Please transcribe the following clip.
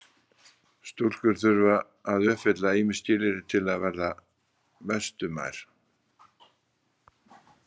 Stúlkur þurftu að uppfylla ýmis skilyrði til að verða Vestumær.